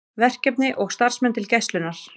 Verkefni og starfsmenn til Gæslunnar